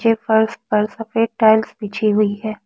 के फर्श पर सफेद टाइल्स बिछी हुई है।